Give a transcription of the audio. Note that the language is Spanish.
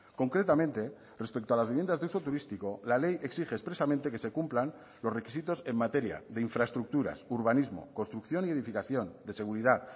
concretamente respecto a las viviendas de uso turístico la ley exige expresamente que se cumplan los requisitos en materia de infraestructuras urbanismo construcción y edificación de seguridad